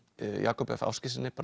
Jakobi f Ásgeirssyni